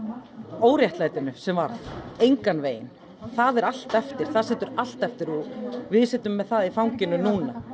óréttlætinu sem varð engan veginn það er allt eftir það situr allt eftir og við sitjum með það í fanginu núna